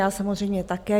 Já samozřejmě také.